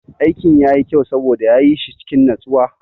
Aikin yayi kyau saboda ya yi shi cikin natsuwa.